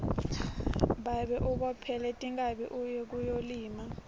babe ubophele tinkhabi uye kuyolima